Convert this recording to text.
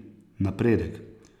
Napredek.